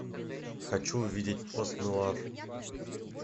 хочу увидеть пост нуар